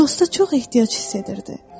Dosta çox ehtiyac hiss edirdi.